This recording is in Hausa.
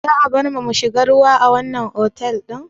Za a barmu mu shiga ruwa a wannan otal ɗin?